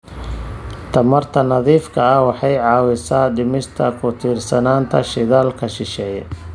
Tamarta nadiifka ah waxay caawisaa dhimista ku tiirsanaanta shidaalka shisheeye.